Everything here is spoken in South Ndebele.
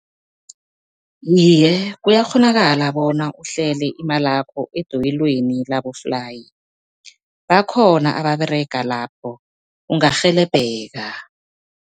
Iye, kuyakghonakala bona uhlele imalakho edoyelweni laboflayi, bakhona ababerega lapho ungarhelebheka.